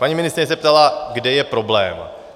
Paní ministryně se ptala, kde je problém.